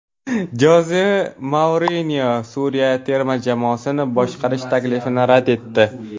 Joze Mourinyo Suriya terma jamoasini boshqarish taklifini rad etdi.